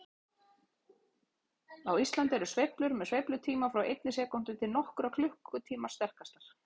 Á Íslandi eru sveiflur með sveiflutíma frá einni sekúndu til nokkurra klukkutíma sterkastar.